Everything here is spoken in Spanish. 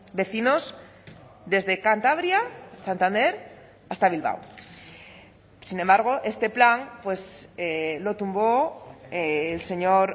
vecinos desde cantabria santander hasta bilbao sin embargo este plan lo tumbó el señor